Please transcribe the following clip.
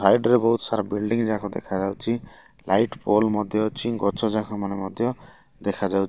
ସାଇଡି ରେ ବହୁତ୍ ସାରା ବୁଇଲ୍ଡିଙ୍ଗ ଯାକ ଦେଖାଯାଉଛି ଲାଇଟ ପୋଲ ମଧ୍ୟ ଅଛି ଗଛ ଯାକମାନ ଦେଖାଯାଉଛି।